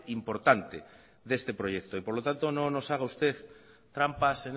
importante de este proyecto y por lo tanto no nos haga usted trampas